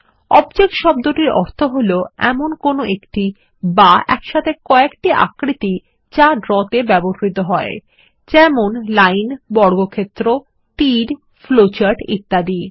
object শব্দটির অর্থ কোনো একটি বা একসাথে কয়েকটি আকৃতি যা ড্র তে ব্যবহৃত হয় যেমন লাইন বর্গক্ষেত্র তীর ফ্লোচার্ট ইত্যাদি